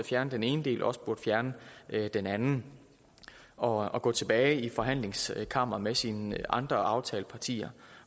fjerne den ene del også burde fjerne den anden og og gå tilbage i forhandlingskammeret med sine andre aftalepartier